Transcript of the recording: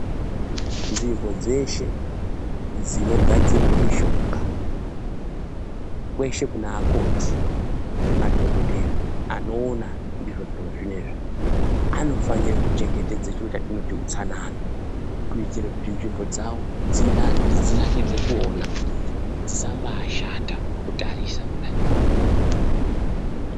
Nzvimbo dzeshe dzinogadzirwe mishonga kweshe kune akoti nemadhokodheya anoona ndizvo zviro zvinezvi anofanire kuchengetedza chiro chatinoti utsanana kuitire kuti nzvimbo dzavo dzinake, dzinakidze kuona dzisambaashata kutarisa kudayi.